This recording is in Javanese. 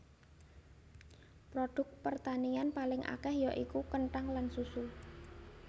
Produk pertanian paling akèh ya iku kenthang lan susu